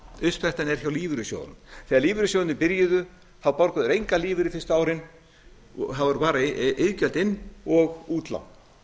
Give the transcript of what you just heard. er hjá lífeyrissjóðunum þegar lífeyrissjóðirnir byrjuðu þá borguðu þeir engan lífeyri fyrstu árin það voru bara iðgjöld inn og útlán